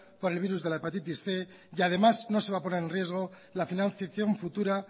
por el virus de la hepatitis cien y además no se va a poner en riesgo la financiación futura